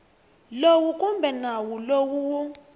lowu kumbe nawu lowu wu